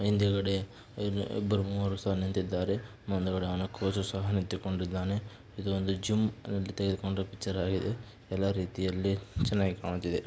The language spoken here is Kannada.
ಹಿಂದುಗಡೆ ಇಬ್ರು ಮೂವರೂ ಸಹ ನಿಂತಿದ್ದಾರೆ. ಮುಂದೆಗಡೆ ಅವನ ಕೋಚು ಸಹ ನಿಂತುಕೊಂಡಿದ್ದಾನೆ. ಇದು ಒಂದು ಜಿಮ್ ನಲ್ಲಿ ತೆಗದುಕೊಂಡ ಪಿಕ್ಚರ್ ಆಗಿದೆ. ಎಲ್ಲಾ ರೀತಿಯಲ್ಲಿ ಚೆನ್ನಾಗಿ ಕಾಣುತ್ತಿದೆ .